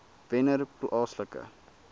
wennerplaaslike